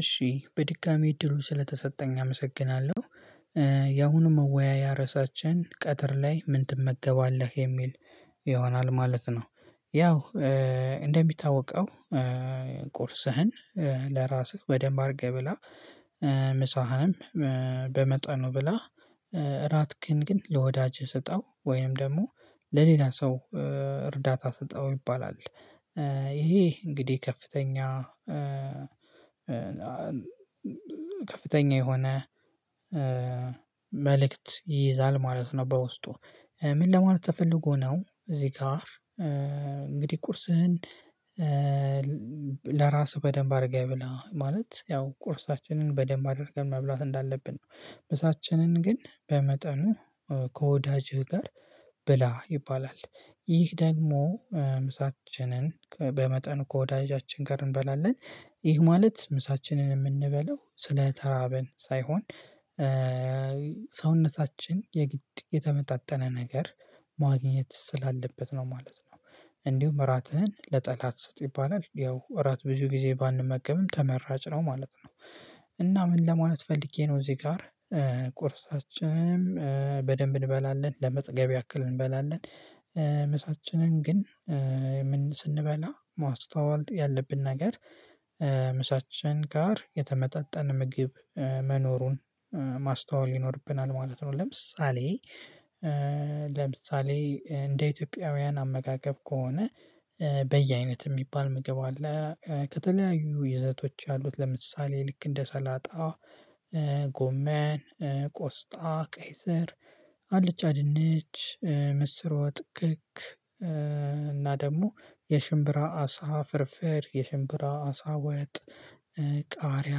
እሺ በድጋሚ እድሉ ስለተሰጠኝ አመሰግናለሁ ያሁኑ መወያያ ርዕሳችን ቀትር ላይ ምን ትመገባለህ የሚል ይሆናል ማለት ነው። ያው እንደሚታወቀው ቁርስህን ለራስህ በደንብ አድርገህ ብላ ምሳህን በመጠኑ ብላ እራትክን ግን ለወዳጅህ ስጠው ወይም ደግሞ ለሌላ ሰው እርዳታ ስጠው ይባላል። ይሄ እንግዲህ ከፍተኛ ከፍተኛ የሆነ መልእክት ይይዛል ማለት ነው። በውስጡ ምን ለማለት ተፈልጎ ነው እዚህ ጋር እንግዲህ ቁርስህን ለራስህ በደንብ አድርገህ ብላ ማለት ያው ቁርሳችንን በደንብ አድርገን መብላት እንዳለብን ነው። ምሳችንን ግን በመጠኑ ከወዳጅህ ጋር ብላ ይባላል። ይህ ደግሞ ምሳችንን በመጠን ከወዳጃችን ጋር እንበላለን። ይህ ማለት ምሳችንን የምንበለው ስለ ተራብን ሳይሆን ሰውነታችን የግድ የተመጣጠነ ነገር ማግኘት ስላለበት ነው ማለት ነው። እንዲሁም ራትህን ለጠላት ስጥ ይባላል ያው እራት ብዙ ጊዜ ባንመገብም ተመራጭ ነው ማለት ነው። እና ምን ለማለት ፈልጌ ነው እዚህ ጋር ቁርሳችንንም በደንብ እንበላለን ለመጥገብ ያክል እንበላለን። ምሳችንን ግን ስንበላ ማስተዋል ያለብን ነገር ምሳችን ጋር የተመጣጠን ምግብ መኖሩን ማስተዋል ይኖርብናል ማለት ነው። ለምሳሌ ለምሳሌ እንደ ኢትዮጵያውያን አመጋገብ ከሆነ በየአይነት የሚባል ምግብ አለ። ከተለያዩ ይዘቶች አሉት ለምሳሌ ልክ እንደ ሰላጣ ጎመን ቆስጣ ቀይስር አልጫ ድንች ምስር ወጥክክ እና ደግሞ የሽምብራ አሳ ፍርፍር የሽምብራ አሳ ወጥ ቃሪያ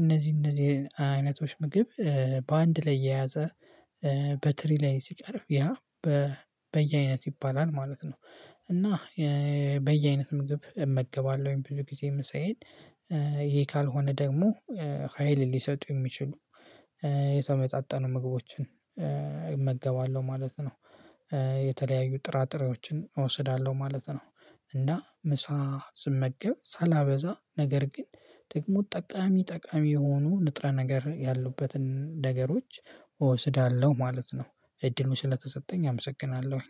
እነዚህ እነዚህ አይነቶች ምግብ በአንድ ላይ የያዘ በትሪ ላይ ሲቀርብ ያ በየአይነት ይባላል ማለት ነው። እና በየአይነት ምግብ እመገባለሁ ብዙ ጊዜ ምሳዬን ይሄ ካልሆነ ደግሞ ሀይል ሊሰጡ የሚችሉ የተመጣጠኑ ምግቦችን እመገባለሁ ማለት ነው። የተለያዩ ጥራጥሬዎችን እወስዳለሁ ማለት ነው። እና ምሳ ስመገብ ሳላበዛ ነገር ግን ጥቅሙ ጠቃሚ ጠቃሚ የሆኑ ንጥረ ነገር ያሉበትን ነገሮች እወስዳለሁ ማለት ነው። እድሉ ስለተሰጠኝ አመሰግናለሁ።